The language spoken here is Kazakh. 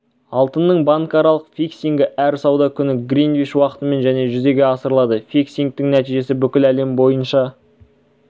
алтынның банкаралық фиксингі әр сауда күні гринвич уақытымен және жүзеге асырылады фиксингтің нәтижесі бүкіл әлем бойынша